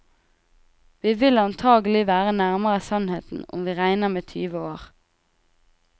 Vi vil antagelig være nærmere sannheten om vi regner med tyve år.